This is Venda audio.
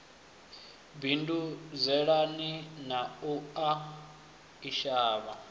bindudzelana na u a isana